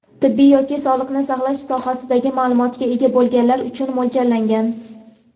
tibbiy yoki sog‘liqni saqlash sohasi maʼlumotiga ega bo‘lganlar uchun mo‘ljallangan.